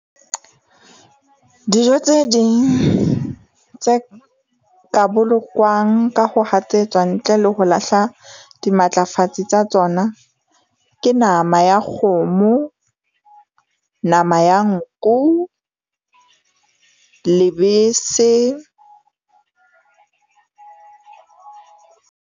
Dijo tse ding tse ka bolokwang ka ho hatsetswa ntle le ho lahla dimatlafatsi tsa tsona, ke nama ya kgomo, nama ya nku, lebese .